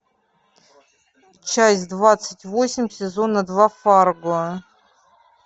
часть двадцать восемь сезона два фарго